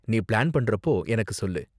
நீ பிளான் பண்றப்போ எனக்கு சொல்லு.